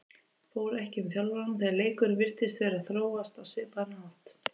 Fór ekki um þjálfarann þegar leikurinn virtist vera að þróast á svipaðan hátt?